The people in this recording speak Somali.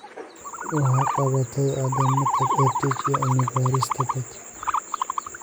Waxay qabatay Caddaynta EdTech iyo Cilmi-baarista (BETER)